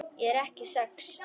Ég er ekki sek.